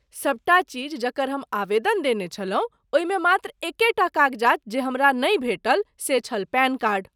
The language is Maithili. सभटा चीज जकर हम आवेदन देने छलहुँ ओहिमे मात्र एकेटा कागजात जे हमरा नहि भेटल से छल पैन कार्ड।